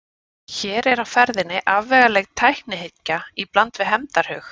Hér er á ferðinni afvegaleidd tæknihyggja í bland við hefndarhug.